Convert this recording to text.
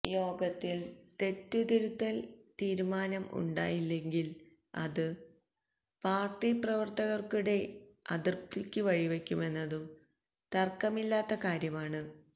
യോഗത്തില് തെറ്റുതിരുത്തല് തീരുമാനം ഉണ്ടായില്ലെങ്കില് അത് പാര്ട്ടി പ്രവര്ത്തകര്ക്കിടയില് അതൃപ്തിക്ക് വഴിവെക്കുമെന്നതും തര്ക്കമില്ലാത്ത കാര്യമാണ്